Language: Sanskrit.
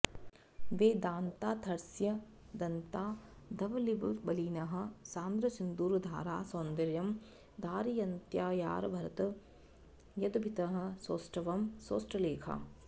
वेदान्तार्थस्य दन्ताधवलिमबलिनः सान्द्रसिन्दूरधारा सौन्दर्यं धारयन्त्यारभत यदभितः सौष्ठवं सौष्ठलेखा